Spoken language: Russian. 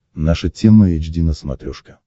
наша тема эйч ди на смотрешке